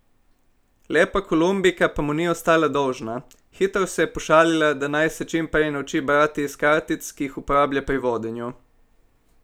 Lepa Kolumbijka pa mu ni ostala dolžna, hitro se je pošalila, da naj se čim prej nauči brati iz kartic, ki jih uporablja pri vodenju.